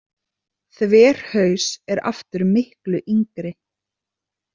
Þverhaus er aftur miklu yngri.